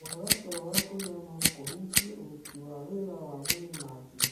Kwaga toro wa kũigana no kũhutie ũruti wa wĩra wa mwĩrĩ na hakiri